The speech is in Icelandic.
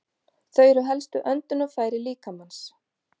Þau eru helstu öndunarfæri líkamans.